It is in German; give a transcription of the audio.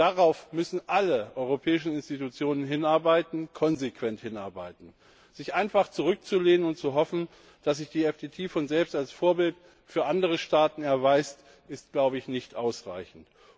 Darauf müssen alle europäischen Institutionen hinarbeiten konsequent hinarbeiten. Sich einfach zurückzulehnen und zu hoffen, dass sich die FTT von selbst als Vorbild für andere Staaten erweist, ist glaube ich nicht ausreichend.